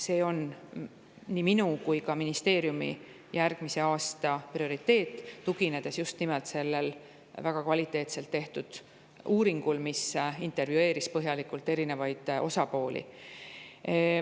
See on nii minu kui ka ministeeriumi järgmise aasta prioriteet, tuginedes just nimelt sellele väga kvaliteetselt tehtud uuringule, mis põhjalikult intervjueeris erinevaid osapooli.